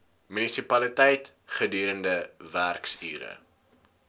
munisipaliteit gedurende werksure